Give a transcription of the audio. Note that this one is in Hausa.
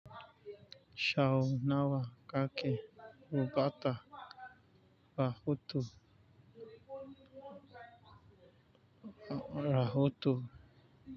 Shaunawa kake rubata rahoto rahoto.